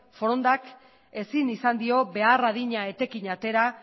forondak ezin izan dio behar adina etekin atera